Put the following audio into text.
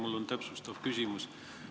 Mul on täpsustav küsimus.